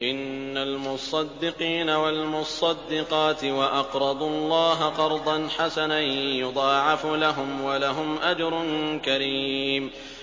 إِنَّ الْمُصَّدِّقِينَ وَالْمُصَّدِّقَاتِ وَأَقْرَضُوا اللَّهَ قَرْضًا حَسَنًا يُضَاعَفُ لَهُمْ وَلَهُمْ أَجْرٌ كَرِيمٌ